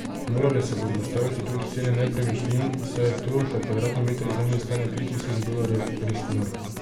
Morale se bodo ustaviti tudi cene nepremičnin, saj je to, da kvadratni meter zemlje stane tri tisoč dolarjev, res noro.